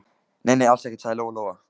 Nei, nei, alls ekkert, sagði Lóa Lóa.